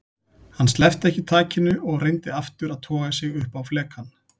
Hann sleppti ekki takinu og reyndi aftur að toga sig upp á flekann.